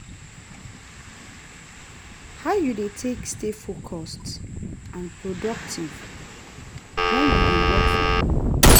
how you dey take stay focused and productive when you dey work from home?